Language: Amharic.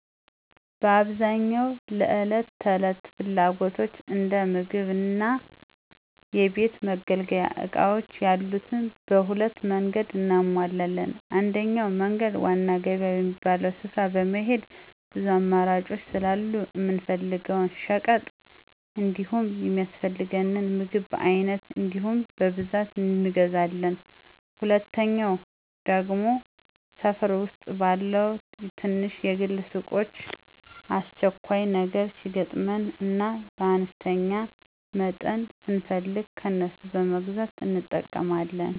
በአብዛኛው ለዕለት ተዕለት ፍላጎቶች እንደ ምግብ እና የቤት መገልገያ እቃዎች ያሉትን በሁለት መንገድ እናሟላለን። አንደኛው መንገድ ዋና ገበያ በሚባለው ስፍራ በመሄድ ብዙ አማራጮች ስላሉ የምንፈልገውን ሸቀጥ እንዲሁም የሚያስፈልገንን ምግብ በአይነት እንዲሁም በብዛት እንገዛለን፤ ሁለተኛው ደግሞ ሠፈር ዉስጥ ባሉ ትናንሽ የግል ሱቆች አስቸኳይ ነገር ሲገጥመን እና በአነስተኛ መጠን ስንፈልግ ከነሱ በመግዛት እንጠቀማለን።